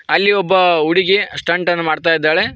ಅಲ್ಲಿ ಒಬ್ಬ ಹುಡುಗಿ ಸ್ಟಂಟನ್ನು ಮಾಡ್ತಿದಾಳೆ.